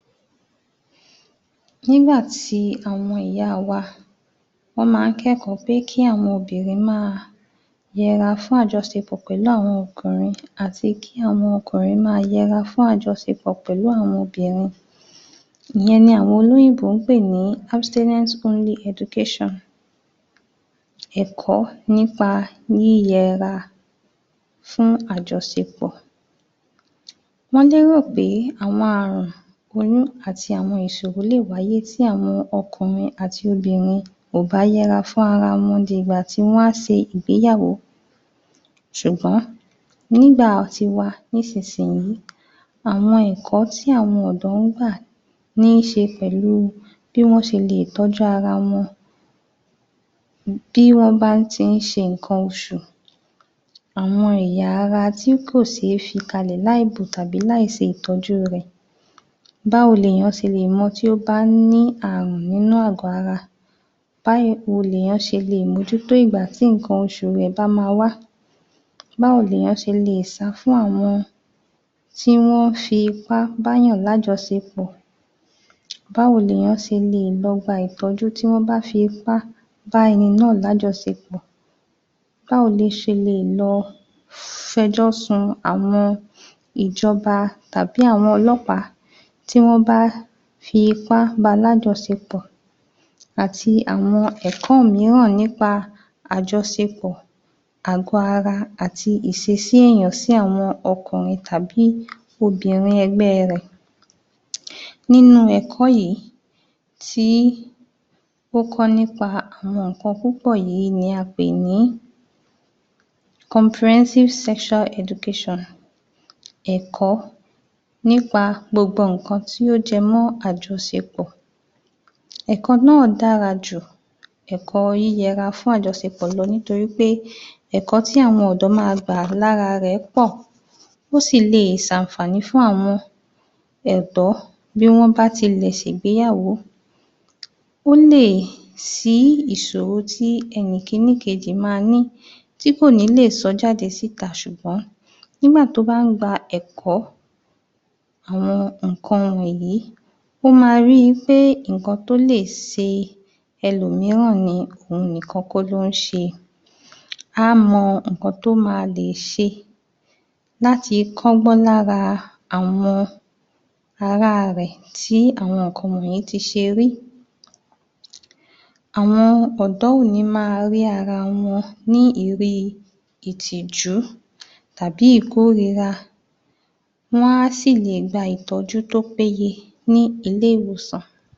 Nígbà tí àwọn ìyáa wa Wọ́n máa ń kẹ́kọ̀ọ́ pé kí àwọn obìnrin máa yẹra fún àjọṣepọ̀ pẹ̀lú àwọn ọkùnrin àti kí àwọn ọkùnrin máa yẹra fún àjọṣepọ̀ pẹ̀lú àwọn obìnrin Ìyẹn ni àwọn olóyìnbó ń pè ní ọ́bísélẹ́ńsí óńlí ẹdukéṣàn. Ẹ̀kọ́ nípa yíyẹra fún àjọṣepọ̀ wọ́n lérò pé àwọn ààrùn, oyún àti àwọn ìṣòro lè wáyé tí àwọn ọkùnrin àti obìnrin ò bá yẹra fún ara wọn dì'gbà tí wọ́n a ṣe ìgbéyàwó ṣùgbọ́n nígbà tiwa nísinsìnyí àwọn ẹ̀kọ́ tí àwọn ọ̀dọ́ ń gbà níiṣe pẹ̀lúu bí wọ́n ṣe leè tọ́jú ara wọn bí wọ́n bá ń ti ń ṣe nǹkan oṣù àwọn ẹ̀yà ara tí kò ṣe é fi kalẹ̀ láìbò tàbí láìṣètọ́jú rẹ̀. Báwo lèèyàn ṣe lè mọ tí ó bá ní ààrùn nínú àgọ́ ara Báwo lèèyàn ṣe leè mójútó ìgbà tí nǹkan oṣù rẹ̀ bá máa wá Báwo lèèyàn ṣe lè sá fún àwọn tí wọ́n ń fipá báàyàn lájọṣepọ̀ Báwo lèèyàn ṣe lè lọ gba ìtọ́jú tí wọ́n bá fi ipá bá ẹni náà lájọṣepọ̀ Báwo lẹ ṣe leè lọ f'ẹjọ́ sun àwọn ìjọba tàbí àwọn olọ́pàá tí wọ́n bá fi ipá bá a lájọṣepọ̀. àti wọn ẹ̀kọ́ mìíràn nípa àjọṣepọ̀, àgọ́-ara àti ìṣesí èèyàn sí àwọn ọkùnrin tàbí obìnrin ẹgbẹ́ẹ rẹ̀. Nínú ẹ̀kọ́ yìí, tí ó kọ́ nípa àwọn nǹkan púpọ̀ yìí ni a pè ní kọmpurẹ́síìfù sẹ́ṣúá ẹdukéṣàn. Ẹ̀kọ́ nípa gbogbo nǹkan tí ó jẹmọ́ àjọṣepọ̀, ẹ̀kọ́ náà dára ju ẹ̀kọ́ yíyẹ'ra fún àjọṣepọ̀ lọ nítorí pé ẹ̀kọ́ tí àwọn ọ̀dọ́ máa gbà lára rẹ̀ pọ̀, ó sì leè ṣ'àǹfàní fún àwọn ọ̀dọ́ bí wọ́n bá tilẹ̀ ṣè'gbéyàwó ó lè ṣí ìṣòro tí ẹnì kìíní kejì máa ní tí kò ní lè sọ ọ́ jáde síta ṣùgbọ́n nígbà tó bá ń gba ẹ̀kọ́, àwọn nǹkan wọ̀nyí ó máa rí i pé nǹkan tó lè ṣe ẹlòmíràn ni, òhun nìkan kọ́ ló ń ṣe á mọ nǹkan tó ma lè ṣe láti kọ́'gbọ́n lára àwọn ará rẹ̀ tí àwọn nǹkan wọ̀nyẹn ti ṣe rí. Àwọn ọ̀dọ́ òní máa rí ara wọn ní ìrí ìtìjú tàbí ìkórìíra. Wọ́n á sì lè gba ìtọ́jú tó péye ní ilé ìwòsàn